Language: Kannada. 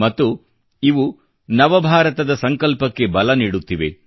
ಮತ್ತು ಇವು ನವ ಭಾರತದ ಸಂಕಲ್ಪಕ್ಕೆ ಬಲ ನೀಡುತ್ತಿವೆ